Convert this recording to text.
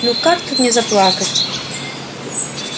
ну как тут не заплакать